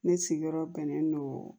Ne sigiyɔrɔ bɛnnen don